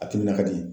A timinan ka di